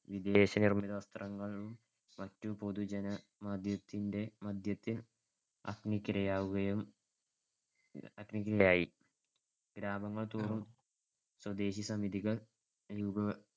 വിദേശനിർമ്മിത വസ്ത്രങ്ങൾ മറ്റും പൊതുജനമധ്യത്തിന്‍ടെ ജനമധ്യത്തിൽ അഗ്നിക്കിരയാവുകയും, അഗ്നിക്കിരയായി. ഗ്രാമങ്ങൾ തോറും സ്വദേശി സമിതികൾ രൂപ